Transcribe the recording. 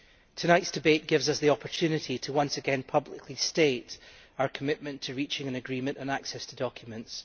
Tonight's debate gives us the opportunity to once again publicly state our commitment to reaching an agreement on access to documents.